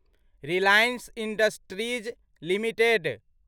Reliance Industries limited